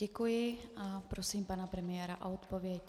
Děkuji a prosím pana premiéra o odpověď.